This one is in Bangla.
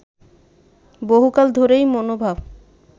বহুকাল ধরেই মনোভাব